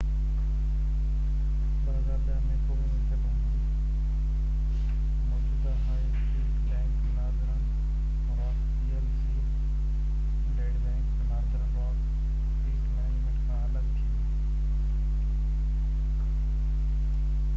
2010 ۾، قومي ملڪيت هوندي، موجوده high street bank Northern Rock P L C ‘bad bank’, Northern Rock Asset Management کان الڳ ٿي وئي